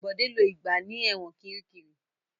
Bọ̀dé lo ìgbà ní ẹ̀wọ̀n Kiríkirì.